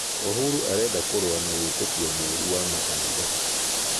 Uhuru arenda kurũa na wĩtĩkĩo mũũrũ wa makanitha